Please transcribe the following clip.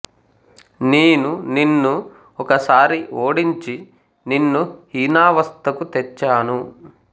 నేను నిన్ను ఒక సారి ఓడించి నిన్ను హీనావస్థకు తెచ్చాను